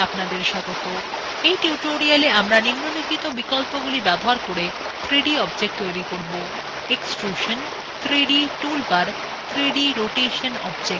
in tutorialএ আমরা নিম্লোলিখিত বিকল্পগুলি ব্যবহার করে 3d objects তৈরী করব